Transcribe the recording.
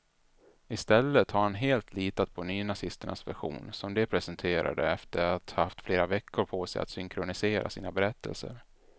I stället har han litat helt på nynazisternas version, som de presenterade sedan de haft flera veckor på sig att synkronisera sina berättelser.